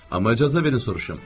Amma icazə verin soruşum.